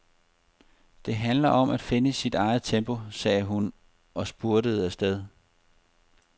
Det handler om at finde sit eget tempo, sagde hun og spurtede afsted.